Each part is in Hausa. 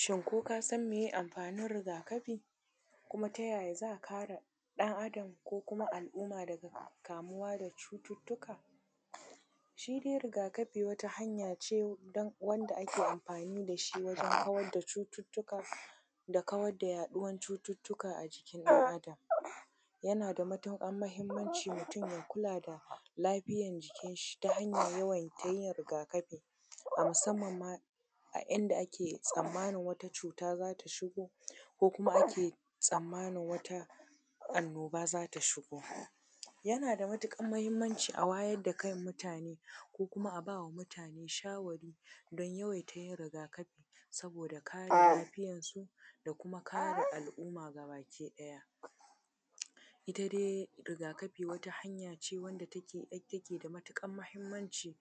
Shin ko ka san meye amfanin rigakafi? kuma ta yaya za a kare ɗan adam ko kuma al’umma daga kamuwa daga cututttuka? shi dai rigakafi wata hanya ce wanda ake amfani da shi wajen kawarda cututtuka da kawarda yaɗuwar cututtuka a jikin ɗan adam, yana da matuƙar muhimmanci mutum ya kula da lafiyan jikin shi, ta hanyar yawaita yin rigakafi, a musamman ma a inda ake tsammanin wata cuta zata shigo ko kuma ake tsammanin wata annoba zata shigo. Yana da matuƙar muhimmanci a wayar da kan mutane ko kuma a bawa mutane shawari don yawaita yin rigakafi, saboda kare lafiyan su da kuma kare al’umma gaba ki ɗaya. Ita dai rigakafi wata hanya ce wacce take da matuƙar muhimmanci,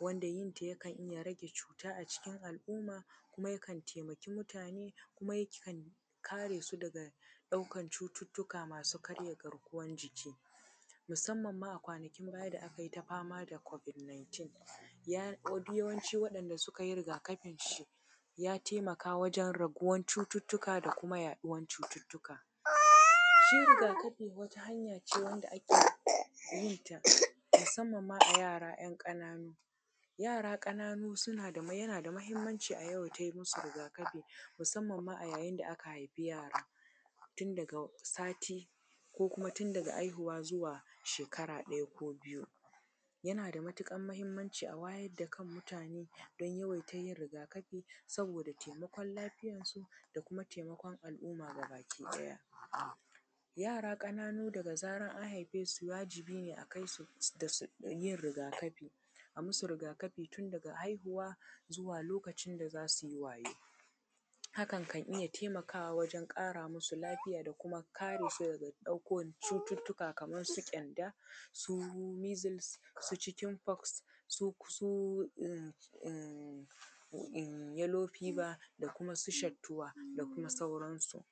wanda yin ta yakan iya rage cuta acikin al’umma kuma yakan taimaki mutane kuma yakan kare su daga ɗaukan cututtuka masu karya garkuwan jiki musamman ma a kwanakin baya da akayi ta fama da Covid19, duk yawancin waɗanɗa suka yi rigakafin shi ya taimaka wajen raguwar cututtuka da kuma yaɗuwan cututtuka. Shi rigakafi wata hanya ce wanda ake yin ta musamman ma a yara ‘yan ƙananu, yara ƙananu suna yana da muhimmanci a yawaita yi musu rigakafi, musamman ma a yayin da aka haifi yara, tun daga sati ko kuma tun daga haihuwa zuwa shekara ɗaya ko biyu. Yana da matuƙar muhimmanci a wayar da kan mutane don yawaita yin rigakafi, abude taimakon lafiyan su da kuma taimakon al’umma gabaki ɗaya. Yara ƙananu daga zaran an haife su wajibi ne akai su yin rigakafi, a musu rigakafi tun daga haihuwa zuwa lokacin da zasu wayau, hakan kan iya taimakawa wajen ƙara musu lafiya da kare su daga ɗaukan cututtuka Kaman su ƙyanda, su measles, su chicken pox, su yellow fever da kuma su shattuwa da kuma sauran su.